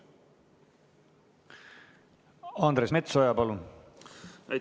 Andres Metsoja, palun!